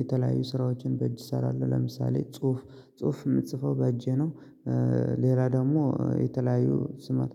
የተለያዩ ስራዎችን በእጅ እሰራለሁ ለምሳሌ ጽሁፍ ጽሁፍ የምጽፈው በእጄ ነው። ሌላ ደግሞ የተለያዩ ስማት